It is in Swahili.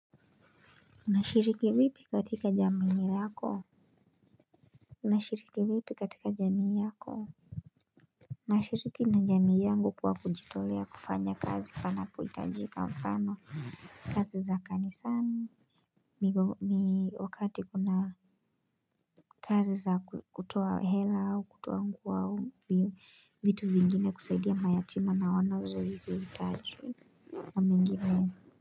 Unashiriki vipi katika jamii yako? Unashiriki vipi katika jamii yako? Nashiriki na jamii yangu kwa kujitolea kufanya kazi panapohitajika mfano, kazi za kanisani ni wakati kuna kazi za kutoa hela au kutoa nguo au vitu vingine kusaidia mayatima na wanazozihitaji na mingine.